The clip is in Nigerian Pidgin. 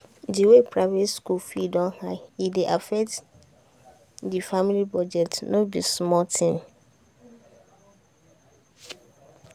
the way private school fee don high e dey affect the family budget no be small thing.